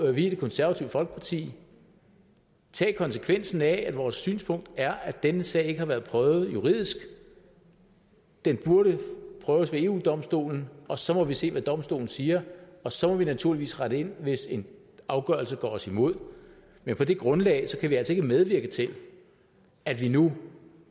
vi i det konservative folkeparti tage konsekvensen af at vores synspunkt er at denne sag ikke har været prøvet juridisk den burde prøves ved eu domstolen og så må vi se hvad domstolen siger og så må vi naturligvis rette ind hvis en afgørelse går os imod men på det grundlag kan vi altså ikke medvirke til at vi nu